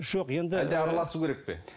жоқ енді әлде араласуы керек пе